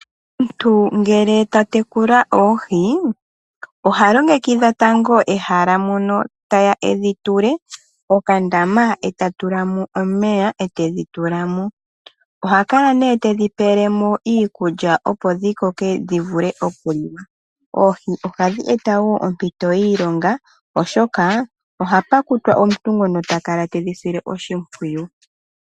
Omuntu ngele ta yekula oohi oha longekidha tango ehala mono teya edhitule mokandama eta tulamo omeya, ethidhi tula mo. Oha kala tedhi pelemo iikulya opo dhikoke dhi vule okuliwa. Oohi ohadhi eta wo ompito yiilonga oshoka ohapu kutwa omuntu ngoka hakala tedhi sile oshipwiyu.